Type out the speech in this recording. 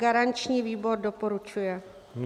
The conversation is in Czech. Garanční výbor doporučuje.